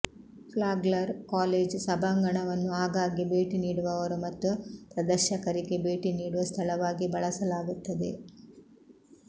Flagler college ಸಭಾಂಗಣವನ್ನು ಆಗಾಗ್ಗೆ ಭೇಟಿ ನೀಡುವವರು ಮತ್ತು ಪ್ರದರ್ಶಕರಿಗೆ ಭೇಟಿ ನೀಡುವ ಸ್ಥಳವಾಗಿ ಬಳಸಲಾಗುತ್ತದೆ